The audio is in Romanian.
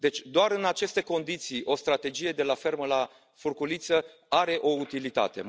Doar în aceste condiții o strategie de la fermă la furculiță are o utilitate.